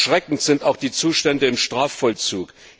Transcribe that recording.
Erschreckend sind auch die Zustände im Strafvollzug.